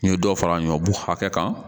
N ye dɔ fara n ka bugun hakɛ kan